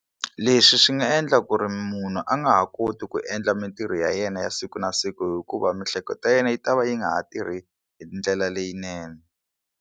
Leswi swi nga endla ku ri munhu a nga ha koti ku endla mintirho ya yena ya siku na siku hikuva miehleketo ya yena yi ta va yi nga ha tirhi hi ndlela leyinene.